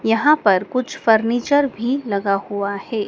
यहां पर कुछ फर्नीचर भी लगा हुआ है।